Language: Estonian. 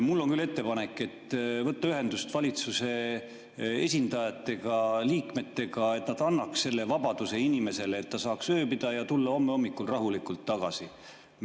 Mul on küll ettepanek võtta ühendust valitsuse esindajatega, liikmetega, et nad annaks selle vabaduse inimesele, et ta saaks ööbida ja tulla homme hommikul rahulikult tagasi.